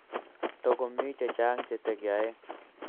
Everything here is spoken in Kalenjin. Togo miy chechang che tegeyae